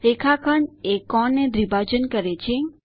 રેખાખંડ એ કોણ ને દ્રીભાજન કરે છે